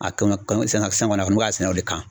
A ka ɲi sɛnɛfɛn wɛrɛ munnu b'a sɛnɛ o de kan